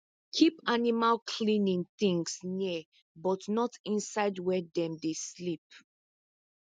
keep animal cleaning things near but not inside where dem dey sleep